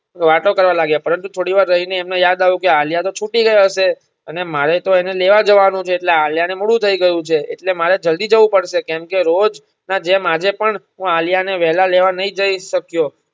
વાતો કરવા લાગ્યા પરંતુ થોડી વાર રયને એમને યાદ આવ્યું કે આલ્યા તો છૂટી ગયા હશે અને મારે તો એને લેવાજવાનું છે એટલે આલ્યા ને મોડું થઇ ગયું છે એટલે મારે જલ્દી જવું પડશે કેમકે રોજ ના જેમ આજેપણ હું આલ્યા ને હું વેલા લેવા ન જય શક્યો